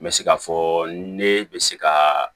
N bɛ se k'a fɔ ne bɛ se ka